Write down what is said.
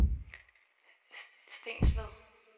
Stensved